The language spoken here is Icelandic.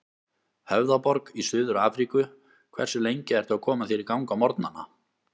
Höfðaborg í Suður-Afríku Hversu lengi ertu að koma þér í gang á morgnanna?